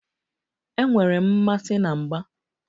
Enwere m mmasị na mgba.